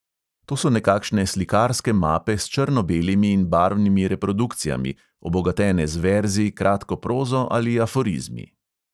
To so nekakšne slikarske mape s črno-belimi in barvnimi reprodukcijami, obogatene z verzi, kratko prozo ali aforizmi.